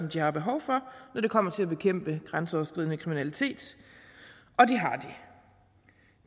de har behov for når det kommer til at bekæmpe grænseoverskridende kriminalitet og det